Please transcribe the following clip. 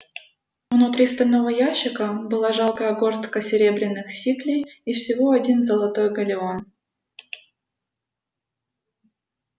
внутри стального ящика была жалкая горстка серебряных сиклей и всего один золотой галлеон